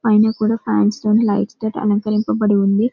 పైన కూడా ఫ్యాన్స్ తోటి లైట్స్ తోని అలంకరింప బడి ఉంది .